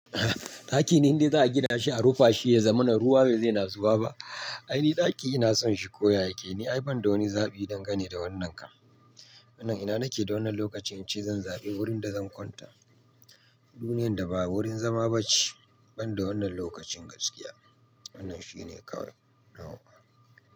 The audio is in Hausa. Ɗaki ne inde za a gina shi a rufe shi ya zama na ruwa bai zai na zuba ba. Ai ni ɗaki ina son shi ko yayi ke ni ai banda wani zaɓi dangane da wannan kan. Wannan ina nake da wannan lokacin ce zan zaɓi wurin da zan kwanta. Duniyar da babu wurin zama ba ce, banda wannan lokacin gaskiya. Wannan shine kawai na wa.